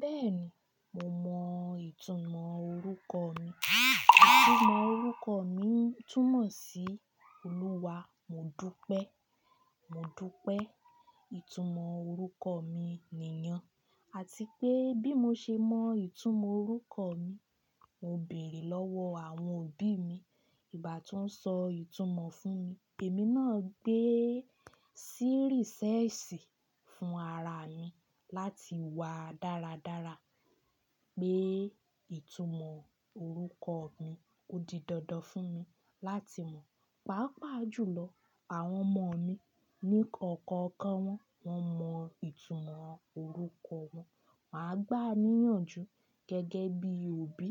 Bẹ́ẹ̀ni, mo mọ ìtumọ̀ orúkọ mi. Ìtumọ̀ orúkọ mi túmọ̀ sí Òluwa, mo dúpẹ́. Mo dúpẹ́, ìtumọ̀ orúkọ mi nìyàn, àti pé bí mo ṣe mọ ìtumọ̀ orúkọ mi, mo bèèrè lọ́wọ́ àwọn òbí mi ìgbà tí wọ́n sọ ìtumọ̀ fún mi. Èmi náà gbé sí rìṣẹ́ẹ̀sì fún ara mi láti wá dáradára pé ìtumọ̀ orúkọ mi ó di dandan fún mi láti mọ̀. Paapaa jùlọ, àwọn ọmọ mi ní ọ̀kọ̀ọ̀kan wọn, wọ́n mọ ìtumọ̀ orúkọ wọn. Máa gbà níyànjú gẹ́gẹ́ bí òbí